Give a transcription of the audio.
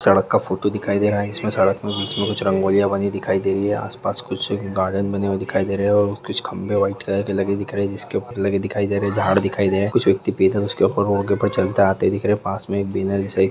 सड़क का फोटो दिखाई दे रहा है इसमें सड़क में बीच में कुछ रंगोलिया बनी दिखाई दे रही है आसपास कुछ गार्डन बने हुए दिखाई दे रहे है और कुछ खंभे व्हाइट कलर के लगे दिख रहे जिसके ऊपर कुछ लगे दिखाई दे रहे है झाड़ दिखाई दे रहे कुछ व्यक्ति रोड के ऊपर चलते आते दिख रहे पास में एक बिनल